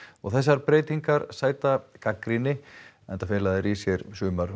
þessar breytingar sæta gagnrýni enda fela þær í sér